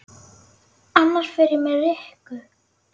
Annars fer ég með Rikku